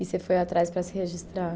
E você foi atrás para se registrar?